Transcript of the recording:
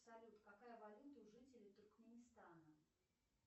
салют какая валюта у жителей туркменистана